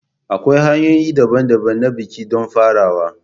Akwai hanyoyi daban-daban na biki don farawa.